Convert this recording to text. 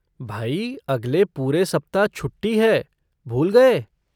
भाई, अगले पूरे सप्ताह छुट्टी है, भूल गए?